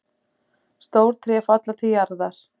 Stór tré falla til jarðar.